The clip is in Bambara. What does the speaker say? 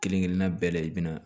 Kelen kelenna bɛɛ la i bi na